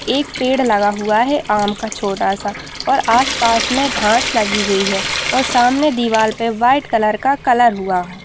एक पेड़ लगा हुआ है आम का छोटा-सा और आसपास में घास लगी हुई है सामने दिवार पर व्हाइट कलर का कलर हुआ है।